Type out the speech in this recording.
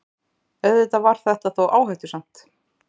Auðvitað var þetta þó áhættusamt.